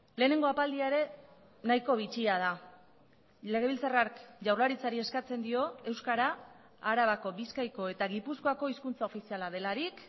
lehenengo apaldia ere nahiko bitxia da legebiltzarrak jaurlaritzari eskatzen dio euskara arabako bizkaiko eta gipuzkoako hizkuntza ofiziala delarik